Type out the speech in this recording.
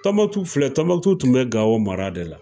Tɔnbukutu filɛ, Tɔnbukutu tun bɛ Gawo mara de la.